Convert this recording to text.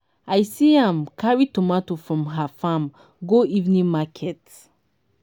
i see am carry tomato from her farm go evening market